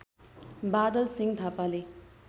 बादल सिं थापाले